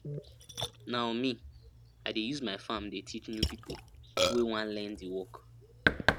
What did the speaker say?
now me i dey use my farm dey teach new pipo wey want learn di work